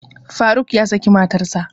Faruk ya saki matarsa